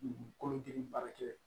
Dugukolo jeli baarakɛ